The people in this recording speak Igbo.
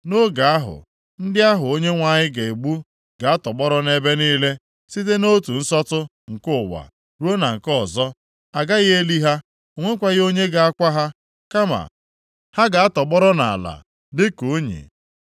Nʼoge ahụ, ndị ahụ Onyenwe anyị ga-egbu ga-atọgbọrọ nʼebe niile, site nʼotu nsọtụ nke ụwa ruo na nke ọzọ. A gaghị eli ha, o nwekwaghị onye ga-akwa ha. Kama ha ga-atọgbọrọ nʼala dịka unyi.